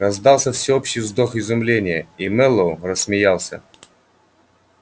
раздался всеобщий вздох изумления и мэллоу рассмеялся